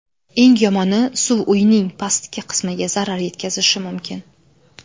Eng yomoni suv uyning pastki qismiga zarar yetkazishi mumkin.